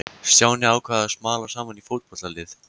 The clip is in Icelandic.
Stjáni ákvað að smala saman í fótboltalið.